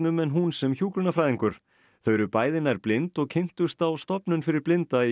en hún sem hjúkrunarfræðingur þau eru bæði nær blind og kynntust á stofnun fyrir blinda í